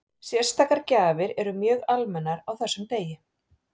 Sérstakar gjafir eru mjög almennar á þessum degi.